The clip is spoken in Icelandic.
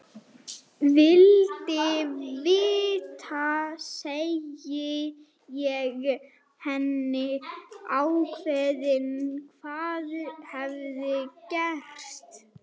Vildi vita, segi ég henni ákveðið, hvað hafði gerst.